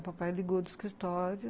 O papai ligou do escritório.